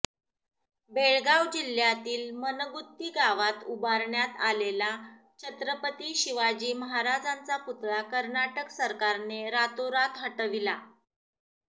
बेळगाव जिल्हय़ातील मनगुत्ती गावात उभारण्यात आलेला छत्रपती शिवाजी महाराजांचा पुतळा कर्नाटक सरकारने रातोरात हटविला